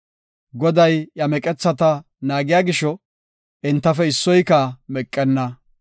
Goday iya meqethata naagiya gisho, entafe issoyka meqenna.